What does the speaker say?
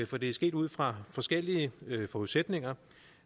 for det sker ud fra forskellige forudsætninger